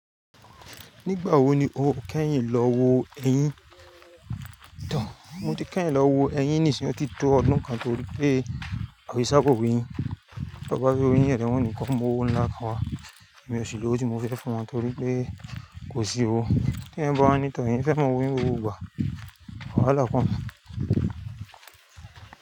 Nígbà wo ni o kẹ́yìn lọ wo ẹyín? Mo ti kẹ́yìn lọ wo ẹyín nìsìn yí òtítọ́ ọdún kan torí pé òṣìṣẹ́ kò wéyìn. Tọ bá fẹ́ wo eyín ẹ ni wọ́n ó kó mú owó ńlá kan wá. Èmi ò sí lówó tí mo fẹ́ fún wọn torí pé kò sí owo. Tí èèyàn bawa ni tọ òun fẹ́ máa wò ní gbogbo ìgbà, wàhálà pọ̀.